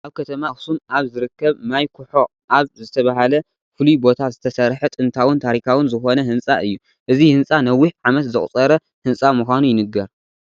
ኣብ ከተማ ኣክሱም ኣብ ዝርከብ ማይ ኩሖ ኣብ ዝተበሃለ ፍሉይ ቦታ ዝተሰረሐ ጥንታዉን ታሪካዉን ዝኮነ ህንፃ እዩ። እዚ ህንፃ ነዊሕ ዓመት ዘቁፀረ ህንፃ ምኻኑ ይንገር።